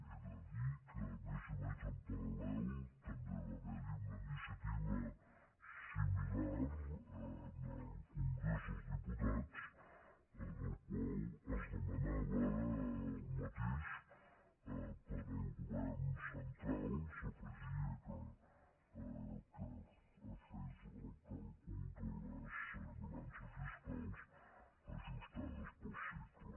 he de dir que més o menys en paral·lel també va ha·ver·hi una iniciativa similar en el congrés dels dipu·tats en la qual es demanava el mateix per al govern central s’hi afegia que fes el càlcul de les balances fiscals ajustades pel cicle